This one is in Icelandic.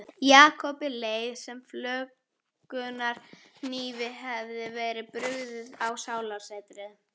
Jakobi leið sem flökunarhnífi hefði verið brugðið á sálartetrið.